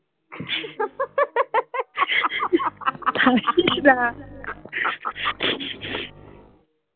হাসিস না